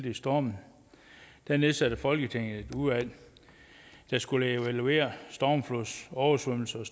i stormen nedsatte folketinget et udvalg der skulle evaluere stormflodsoversvømmelserne